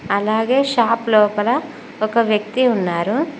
అలాగే షాప్ లోపల ఒక వ్యక్తి ఉన్నారు.